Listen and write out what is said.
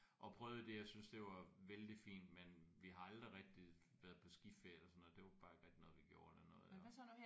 Og prøvede det og synes det var vældig fint men vi har aldrig rigtig været på skiferie eller sådan noget det var bare ikke rigtig noget vi gjorde eller noget